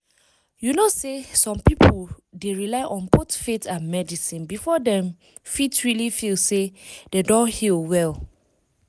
you know say some people dey rely on both faith and medicine before dem fit really feel say dem don heal well.